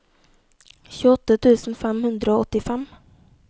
tjueåtte tusen fem hundre og åttifem